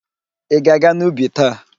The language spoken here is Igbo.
Ị ga-aga n'ubi taa?